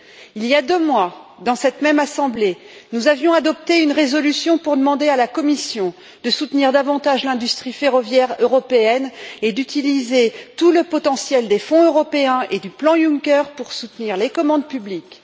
Il y a deux mois, dans cette même Assemblée, nous avions adopté une résolution pour demander à la Commission de soutenir davantage l'industrie ferroviaire européenne et d'utiliser tout le potentiel des fonds européens et du plan Juncker pour soutenir les commandes publiques.